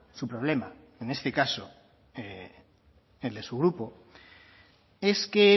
su problema en este caso el de su grupo es que